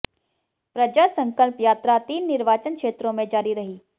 प्रजा संकल्प यात्रा तीन निर्वाचन क्षेत्रों में जारी रही